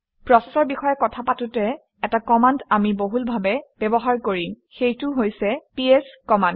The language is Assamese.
প্ৰচেচৰ বিষয়ে কথা পাতোঁতে এটা কমাণ্ড আমি বহুলভাৱে ব্যৱহাৰ কৰিম সেইটো হৈছে পিএছ কমাণ্ড